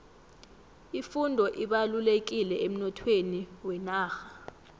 ifundo ibalulekile emnothweni wenarha